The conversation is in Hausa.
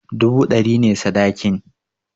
Dubu ɗari ne sadakin